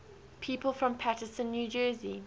people from paterson new jersey